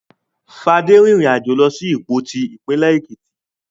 Fadé rìnrìn-àjò lọ sí Ìpoti, ìpínlẹ̀ Èkìtì.